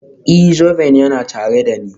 Ee, zoben yana tare da ni.